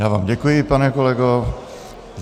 Já vám děkuji, pane kolego.